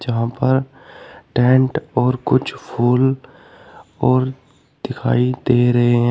यहां पर टेंट और कुछ फूल और दिखाई दे रहे है।